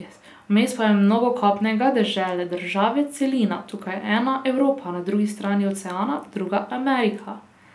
Vmes pa je mnogo kopnega, dežele, države, celina, tukaj ena, Evropa, na drugi strani oceana druga, Amerika.